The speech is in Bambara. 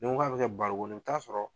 Ne ko a bɛ kɛ bariko na i bɛ ta sɔrɔ.